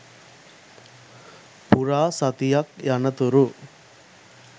පුරා සතියක් යනතුරු